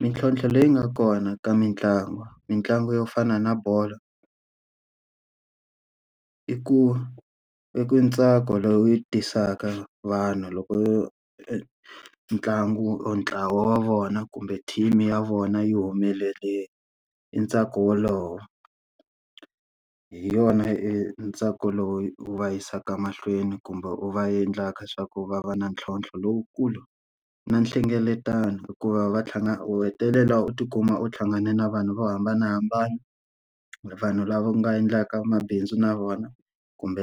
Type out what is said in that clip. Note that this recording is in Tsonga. Mintlhotlho leyi nga kona ka mitlangu, mitlangu yo fana na bolo i ku i ku ntsako lowu yi tisaka vanhu loko ntlangu or ntlawa wa vona kumbe team-i ya vona yi humelele i ntsako wolowo. Hi yona e entsako lowu wu va yisaka mahlweni kumbe u va endlaka swa ku va va na ntlhontlho lowukulu. Na nhlengeletano hikuva va tlhangana u hetelela u ti kuma u hlangane na vanhu vo hambanahambana. Vanhu lava u nga endlaka mabindzu na vona, kumbe